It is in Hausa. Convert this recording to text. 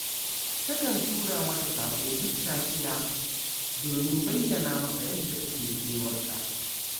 Takan tura masa saƙo duk safiya, domin bayyana masa yadda take kewar sa